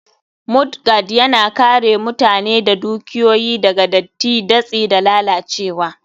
Mudguard, Yana kare mutane da dukiyoyi daga datti, datsi, da lalacewa.